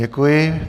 Děkuji.